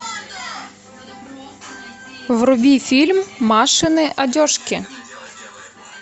вруби фильм машины одежки